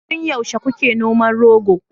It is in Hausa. tun yaushe kuke noman rogo